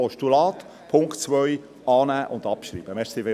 Postulat, Punkt 2: Annahme und Abschreibung.